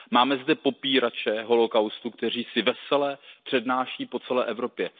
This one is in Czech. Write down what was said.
Máme zde popírače holocaustu, kteří si vesele přednáší po celé Evropě.